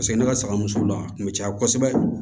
Paseke ne ka saga min sugu la a tun bɛ caya kosɛbɛ